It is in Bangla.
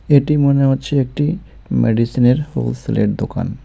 এটি মনে হচ্ছে একটি মেডিসিনের হোলসেলের দোকান.